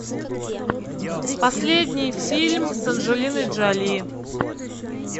последний фильм с анджелиной джоли